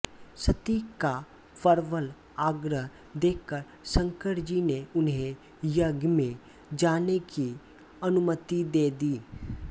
सती का प्रबल आग्रह देखकर शंकरजी ने उन्हें यज्ञ में जाने की अनुमति दे दी